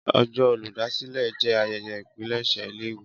Ọjọ́ Olùdásílẹ̀ jé ayẹyẹ ipilese ilé ìwé